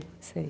Sei, sei.